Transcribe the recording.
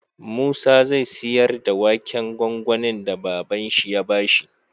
Musa zai siyar da waken gwangwanin da baban shi ya bashi